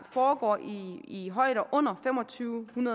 foregår i højder under to tusind